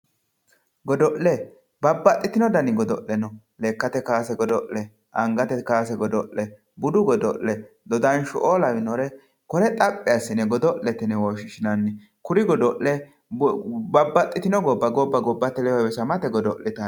Godo'le, babbaxxitino danni godo'le no lekkate kaase godo'le angate kaase godo'le budu godo'le dodansho"o lawinore kore xaphi assine godo'lete yinne woshshinanni kuri godo'le babbaxxitino gobba gobbbate ledo heewisamate godo'littano.